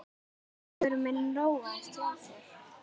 Hugur minn róaðist hjá þér.